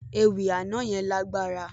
Ewì àná yẹn lágbára.